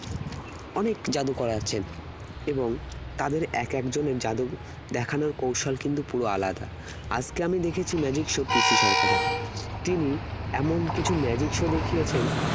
অনেক জাদুকর আছেন এবং তাদের এক এক জনের জাদু দেখানোর কৌশল কিন্তু পুরো আলাদা আজকে আমি দেখেছি magic show PC সরকারের তিনি এমন কিছু magic show দেখিয়েছেন